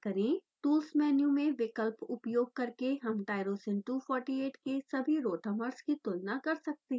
tools menu में विकल्प उपयोग करके हम tyrosine 248 के सभी rotamers की तुलना कर सकते हैं